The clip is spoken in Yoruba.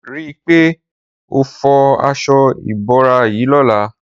Ri pé ó fọ aṣọ ibórá yi lọlá